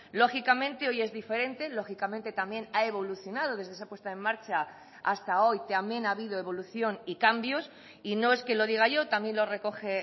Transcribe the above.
lógicamente hoy es diferente lógicamente también ha evolucionado desde esa puesta en marcha hasta hoy también ha habido evolución y cambios y no es que lo diga yo también lo recoge